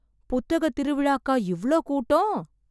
புத்தகத் திருவிழாக்கா இவ்ளோ கூட்டம்?